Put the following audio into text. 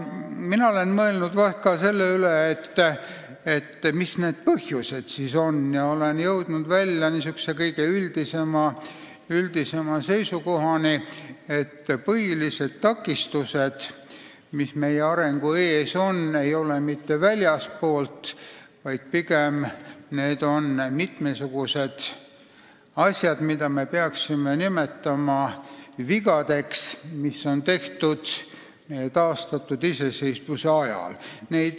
Olen mõelnud ka selle üle, mis need põhjused siis on ja olen jõudnud kõige üldisemale seisukohale, et põhilised takistused, mis meie arengu ees on, ei ole pärit mitte väljastpoolt, pigem on need mitmesugused asjad, mida me peaksime nimetama vigadeks, mis on tehtud taastatud iseseisvuse ajal.